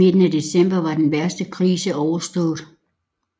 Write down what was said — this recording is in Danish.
I midten af december var den værste krise overstået